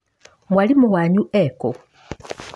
Mwarimũ wanyu ekũ?